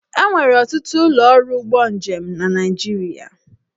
E nwere ọtụtụ ụlọ ọrụ ụgbọ njem na Naịjirịa.